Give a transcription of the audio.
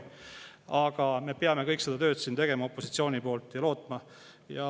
Aga me peame opositsioonis kõik seda tööd siin tegema ja lootma.